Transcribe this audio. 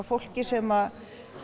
fólki sem